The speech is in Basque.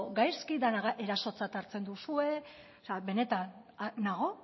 gaizki dena erasotzat hartzen duzue benetan nago